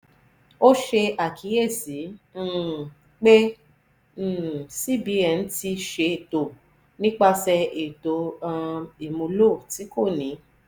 o ṣe akiyesi um pe um v cbn ti ṣe to nipasẹ eto um imulo ti ko ni